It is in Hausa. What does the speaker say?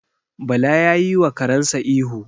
Bala ya yiwa karensa ihu.